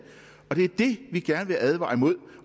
og det er det vi gerne vil advare imod